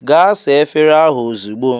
"Gaa saa efere ahụ ozugbo!"